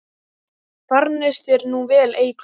Farnist þér nú vel, Eygló.